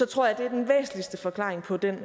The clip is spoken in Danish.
tror jeg det er den væsentligste forklaring på den